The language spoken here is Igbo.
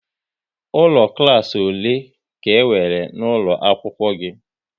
Ụlọ klas ole ka e nwere n'ụlọ akwụkwọ gị?